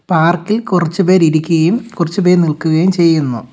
പാർക്കിൽ കുറച്ചുപേർ ഇരിക്കുകയും കുറച്ചുപേർ നിൽക്കുകയും ചെയ്യുന്നു.